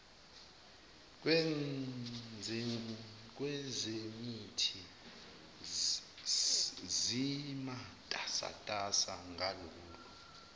kwezemithi zimatasatasa ngalolu